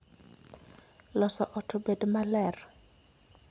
Loso ot obed maler